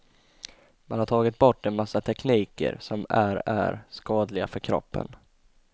Man har tagit bort en massa tekniker som är är skadliga för kroppen.